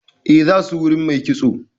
Eh, za su wurin mai kitso.